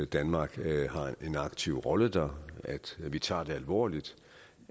danmark har en aktiv rolle der at vi tager det alvorligt